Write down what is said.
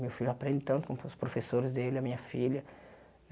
Meu filho aprende tanto com os professores dele, a minha filha.